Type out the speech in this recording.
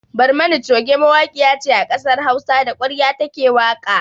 Barmani coge mawaƙiya ce a kasar Hausa, da ƙwarya ta ke waƙa.